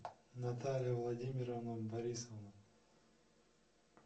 наталья владимировна борисова